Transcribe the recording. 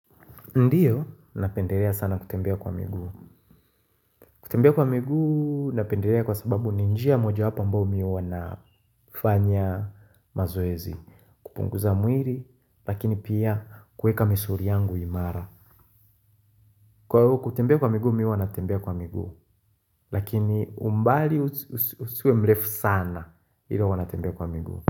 Ndiyo, napendelea sana kutembea kwa miguu. Kutembea kwa miguu, napendelea kwa sababu ni njia moja wapo ambayo mimi huwa nafanya mazoezi kupunguza mwili, lakini pia kuweka misuli yangu imara. Kwa hiyo, kutembea kwa miguu, mimi huwa natembea kwa miguu. Lakini umbali usiwe mrefu sana, hivyo huwa natembea kwa miguu.